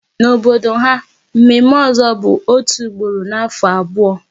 N'obodo ha, mme mme ozo bụ otu ugboro n'afọ abụọ